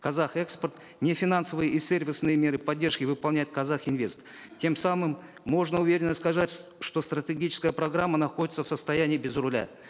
казахэкспорт нефинансовые и сервисные меры поддержки выполняет казахинвест тем самым можно уверенно сказать что стратегическая программа находится в состоянии без руля